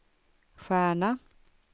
stjärna